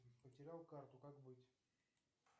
потерял карту как быть